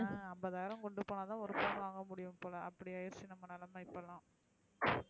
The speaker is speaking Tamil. ஹான் அம்பதாயிரம் கொண்டு போன தான் ஒரு பவுன் வாங்கமுடியும் போல அப்டி ஆயிருச்சு நம்ம நெலம இப்பலா